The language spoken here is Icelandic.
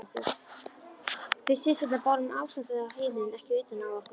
Við systurnar bárum ástandið á heimilinu ekki utan á okkur.